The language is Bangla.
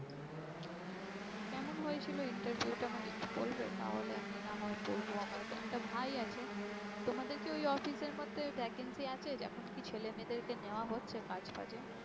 কেমন হয়েছিল interview টা আমাকে একটু বলবে তাহলে আমি না হয় বলবো আমার একটা ভাই আছে। তোমাদের কি ওই office এর মধ্যে vacancy আছে? এখন কি ছেলে মেয়েদেরকে নেওয়া হচ্ছে কাজ ফাজে?